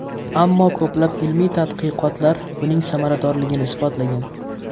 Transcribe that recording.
Ammo ko‘plab ilmiy tadqiqotlar buning samaradorligini isbotlagan.